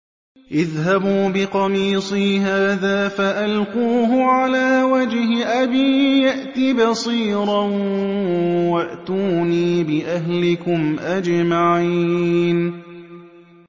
اذْهَبُوا بِقَمِيصِي هَٰذَا فَأَلْقُوهُ عَلَىٰ وَجْهِ أَبِي يَأْتِ بَصِيرًا وَأْتُونِي بِأَهْلِكُمْ أَجْمَعِينَ